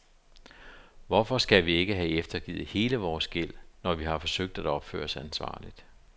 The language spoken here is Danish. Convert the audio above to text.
Hvorfor skal vi ikke have eftergivet hele vores gæld, når vi har forsøgt at opføre os ansvarligt?